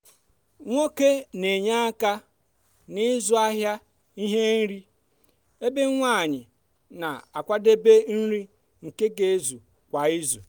nwoke n'enye aka n'ịzụ ahịa ihe nri ebe nwanyi na-akwadebe nri nke ga ezu kwa izu.